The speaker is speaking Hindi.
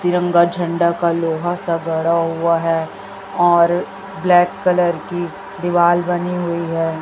तिरंगा झंडा का लोहा सा गड़ा हुआ है और ब्लैक कलर की दीवाल बनी हुई है।